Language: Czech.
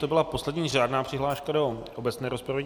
To byla poslední řádná přihláška do obecné rozpravy.